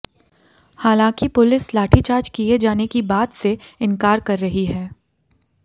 हालांकी पुलिस ने लाठीचार्ज किए जाने की बात से इनकार कर रही है